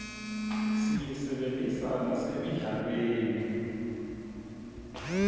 siyisebentisa nasemidlalweni